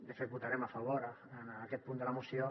de fet votarem a favor a aquest punt de la moció